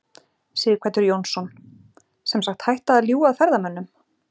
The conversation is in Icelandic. Sighvatur Jónsson: Sem sagt hætta að ljúga að ferðamönnum?